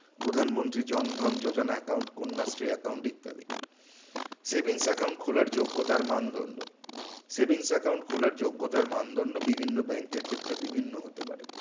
প্রধানমন্ত্রী জনধন জোযনা account Kanya Shri account ইত্যাদি savings account খোলার যোগ্যতার মানদন্ড savings account খোলার যোগ্যতার মানদন্ড বিভিন্ন bank এর ক্ষেত্রে বিভিন্ন হতে পারে